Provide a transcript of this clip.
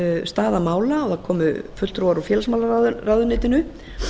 staða mála það komu fulltrúar úr félagsmálaráðuneytinu